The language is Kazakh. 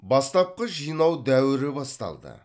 бастапқы жинау дәуірі басталды